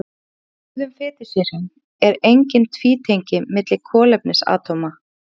Í mettuðum fitusýrum eru engin tvítengi milli kolefnisatóma.